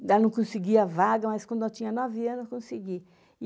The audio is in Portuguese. Daí não conseguia vaga, mas quando eu tinha nove anos, consegui.